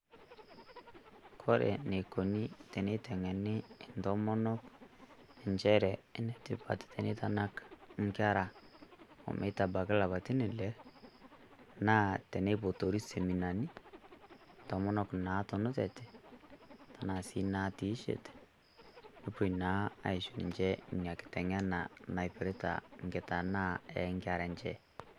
Kore enikoni teniteng'eni intomonok, njere enetipat teneitanak inkera omeitabaki ilapaitin ile, naa teneipotori seminani, intomonok natunutate, tenaa si natiishete, nepoi naa aisho ninche ina kiteng'ena naipirta nkitanaa enkera enche.